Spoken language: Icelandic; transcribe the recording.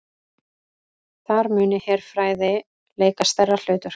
Þar muni herfræði leika stærra hlutverk